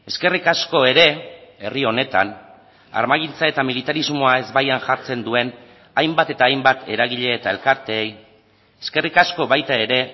eskerrik asko ere herri honetan armagintza eta militarismoa ezbaian jartzen duen hainbat eta hainbat eragile eta elkarteei eskerrik asko baita ere